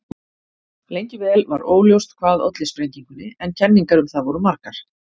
Lengi vel var óljóst hvað olli sprengingunni en kenningar um það voru margar.